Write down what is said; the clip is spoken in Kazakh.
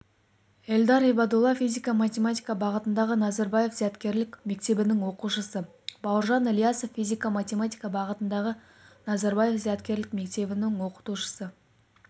эльдар ибадулла физика-математика бағытындағы назарбаев зияткерлік мектебінің оқушысы бауыржан ілиясов физика-математика бағытындағы назарбаев зияткерлік мектебінің оқытушысы